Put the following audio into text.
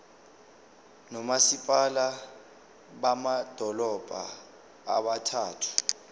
nomasipala bamadolobha abathathu